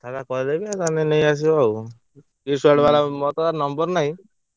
କଥାବାର୍ତା କରେଇଦେବୀ ତମେ ଯାଇ ନେଇଆସିବ ଆଉ Kids World ବାଲାର ମୋ ପାଖରେ number ନାହିଁ,